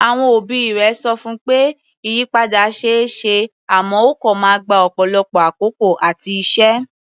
Àwọn òbí rẹ̀ sọ fún pé ìyípadà ṣe é ṣe àmọ́ ó kọ̀ máa gba ọ̀pọ̀lọpọ̀ àkókò àti iṣẹ́.